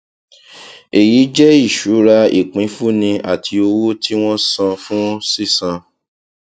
èyí jẹ ìṣura ìpínfúnni àti owó tí wọn san fún sísan